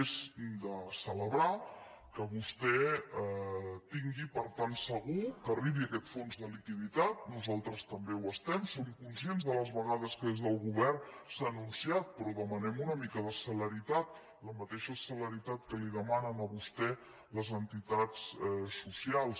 és de celebrar que vostè tingui per tant segur que ar·ribi aquest fons de liquiditat nosaltres també ho es·tem som conscients de les vegades que des del govern s’ha anunciat però demanem una mica de celeritat la mateixa celeritat que li demanen a vostè les enti·tats socials